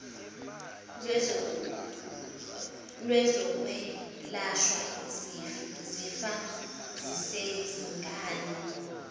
lwezokwelashwa zifa ziseyizingane